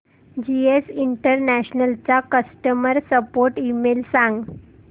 GS international चा customer support email सांग